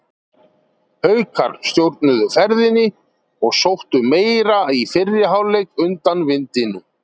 Haukar stjórnuðu ferðinni og sóttu meira í fyrri hálfleiknum undan vindinum.